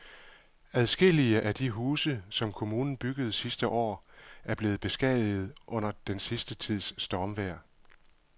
Adskillige af de huse, som kommunen byggede sidste år, er blevet beskadiget under den sidste tids stormvejr.